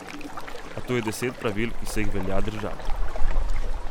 A tu je deset pravil, ki se jih velja držati.